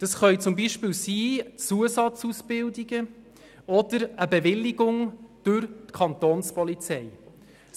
Das können beispielsweise Zusatzausbildungen oder eine Bewilligung durch die Kantonspolizei sein.